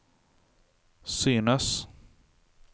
synes